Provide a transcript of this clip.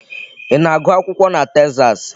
Ị na-agụ akwụkwọ na Texas?